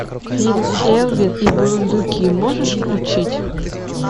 фильм элвин и бурундуки можешь включить